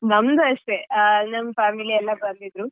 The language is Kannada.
ನಮ್ದು ಅಷ್ಟೇ ಹ ನಮ್ family ಎಲ್ಲಾ ಬಂದಿದ್ರು.